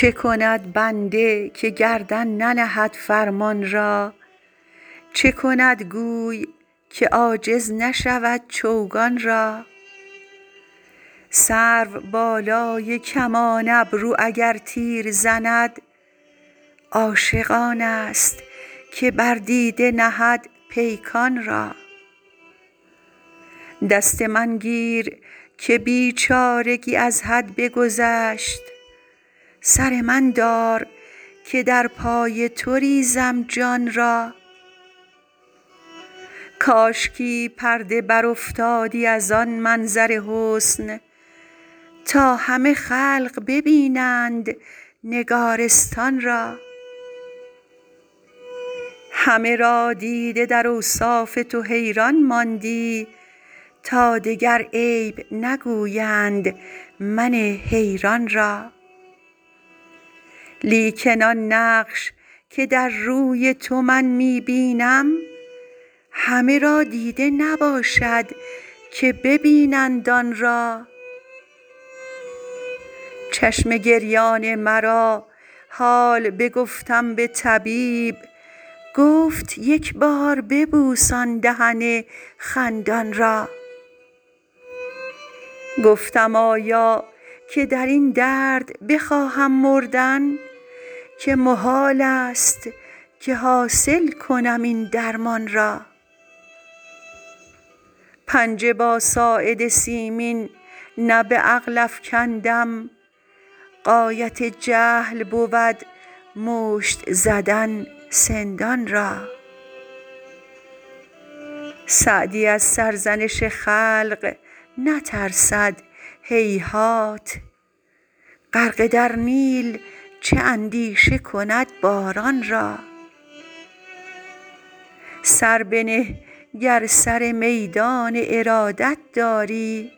چه کند بنده که گردن ننهد فرمان را چه کند گوی که عاجز نشود چوگان را سروبالای کمان ابرو اگر تیر زند عاشق آنست که بر دیده نهد پیکان را دست من گیر که بیچارگی از حد بگذشت سر من دار که در پای تو ریزم جان را کاشکی پرده برافتادی از آن منظر حسن تا همه خلق ببینند نگارستان را همه را دیده در اوصاف تو حیران ماندی تا دگر عیب نگویند من حیران را لیکن آن نقش که در روی تو من می بینم همه را دیده نباشد که ببینند آن را چشم گریان مرا حال بگفتم به طبیب گفت یک بار ببوس آن دهن خندان را گفتم آیا که در این درد بخواهم مردن که محالست که حاصل کنم این درمان را پنجه با ساعد سیمین نه به عقل افکندم غایت جهل بود مشت زدن سندان را سعدی از سرزنش خلق نترسد هیهات غرقه در نیل چه اندیشه کند باران را سر بنه گر سر میدان ارادت داری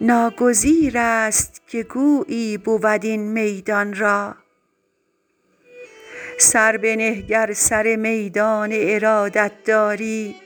ناگزیرست که گویی بود این میدان را